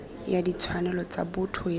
ya ditshwanelo tsa botho ya